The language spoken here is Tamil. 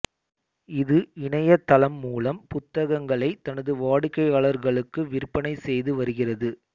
இது இணைய தளம் மூலம் புத்தகங்களை தனது வாடிகையாளர்களுக்கு விற்பனை செய்து வருகிறது